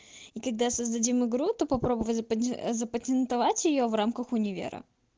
и когда создадим игру то попробовать запа запатентовать её в рамках универа